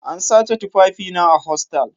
An sace tufafina a hostal